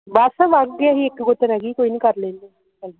ਇਕ ਗੁੱਤ ਰਹਿ ਗਈ ਹੀ ਕੋਈ ਨਹੀਂ ਕਰ ਲੈਂਦੇ